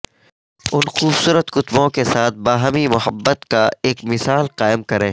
ان خوبصورت کتبوں کے ساتھ باہمی محبت کا ایک مثال قائم کریں